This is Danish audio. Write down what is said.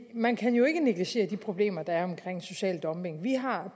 man kan jo ikke negligere de problemer der er med social dumping vi har